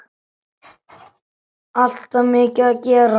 Alltaf mikið að gera.